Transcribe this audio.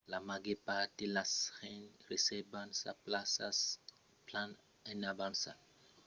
la màger part de las gents resèrvan sas plaças plan en avança que los batèus son abitualament plens pendent la sason nauta